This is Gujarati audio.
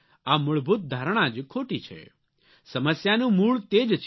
આ મૂળભૂત ધારણા જ ખોટી છે સમસ્યાનું મૂળ તે જ છે